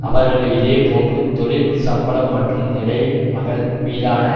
அவர்கள் இதே போன்று தொழில் சம்பளம் மற்றும் நிலைமகள் மீதான